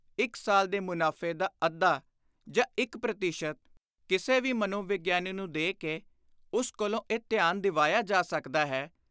ਇਕ ਸਾਲ ਦੇ ਮੁਨਾਫ਼ੇ ਦਾ ਅੱਧਾ ਜਾਂ ਇਕ ਪ੍ਰਤੀਸ਼ਤ ਕਿਸੇ ਵੀ ਮਨੋਵਿਗਿਆਨੀ ਨੂੰ ਦੇ ਕੇ ਉਸ ਕੋਲੋਂ ਇਹ ਥਿਆਨ ਦਿਵਾਇਆ ਜਾ ਸਕਦਾ ਹੈ